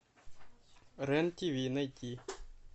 рен тв найти